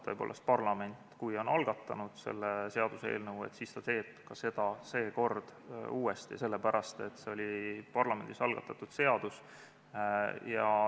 Tõepoolest, kui parlament on algatanud selle seaduseelnõu, siis ta teeb seekord seda uuesti, sest see oli parlamendis algatatud eelnõu.